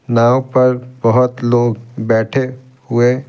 नाव पर बहुत लोग बैठे हुए--